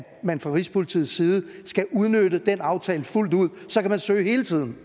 man fra rigspolitiets side skal udnytte den aftale fuldt ud så kan man søge hele tiden